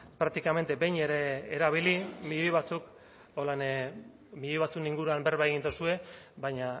prácticamente behin ere erabili milioi batzuen inguruan berba egin duzue baina